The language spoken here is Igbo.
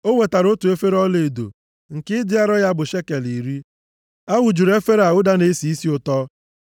O wetara otu efere ọlaedo, nke ịdị arọ ya bụ shekel iri. A wụjuru efere a ụda na-esi isi ụtọ.